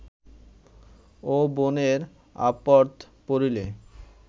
ও বোনের আপদ্ পড়িলে